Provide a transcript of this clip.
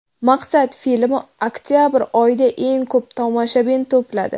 "Maqsad" filmi oktabr oyida eng ko‘p tomoshabin to‘pladi.